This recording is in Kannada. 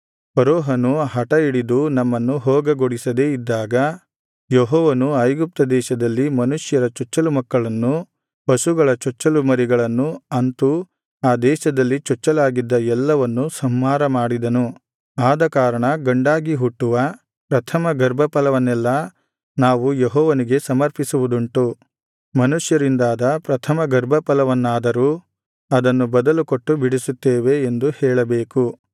ಫರೋಹನು ಹಠಹಿಡಿದು ನಮ್ಮನ್ನು ಹೋಗಗೊಡಿಸದೇ ಇದ್ದಾಗ ಯೆಹೋವನು ಐಗುಪ್ತ ದೇಶದಲ್ಲಿ ಮನುಷ್ಯರ ಚೊಚ್ಚಲಮಕ್ಕಳನ್ನು ಪಶುಗಳ ಚೊಚ್ಚಲು ಮರಿಗಳನ್ನು ಅಂತೂ ಆ ದೇಶದಲ್ಲಿ ಚೊಚ್ಚಲಾಗಿದ್ದ ಎಲ್ಲವನ್ನು ಸಂಹಾರ ಮಾಡಿದನು ಆದಕಾರಣ ಗಂಡಾಗಿ ಹುಟ್ಟುವ ಪ್ರಥಮ ಗರ್ಭಫಲವನ್ನೆಲ್ಲಾ ನಾವು ಯೆಹೋವನಿಗೆ ಸಮರ್ಪಿಸುವುದುಂಟು ಮನುಷ್ಯರಿಂದಾದ ಪ್ರಥಮ ಗರ್ಭಫಲವನ್ನಾದರೋ ಅದನ್ನು ಬದಲುಕೊಟ್ಟು ಬಿಡಿಸುತ್ತೇವೆ ಎಂದು ಹೇಳಬೇಕು